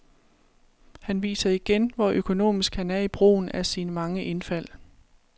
Han viser igen, hvor økonomisk han er i brugen af sine mange indfald.